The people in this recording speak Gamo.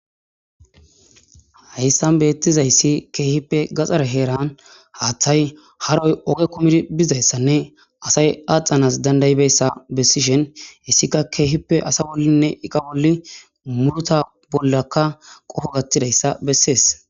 Hayssan beettizayssi keehippe gaxare heeran haaththay haroy oge kumidi bizayssanne asay axanas dandaybessa bessishen issika keehippe asa wollinne iqa bolli murota bollakka qoho gattidayssa bessees.